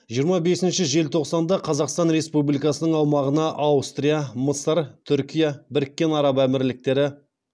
жиырма бесінші желтоқсанында қазақстан республикасының аумағына аустрия мысыр түркия біріккен араб әмірліктері